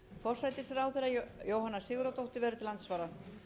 benediktsson forsætisráðherra jóhanna sigurðardóttir verður til andsvara